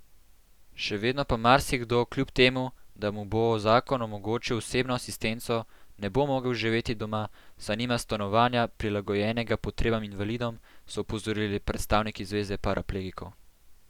Še vedno pa marsikdo kljub temu, da mu bo zakon omogočil osebno asistenco, ne bo mogel živeti doma, saj nima stanovanja, prilagojenega potrebam invalidov, so opozorili predstavniki zveze paraplegikov.